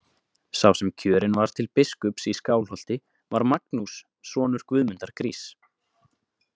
Sá sem kjörinn var til biskups í Skálholti var Magnús sonur Guðmundar gríss.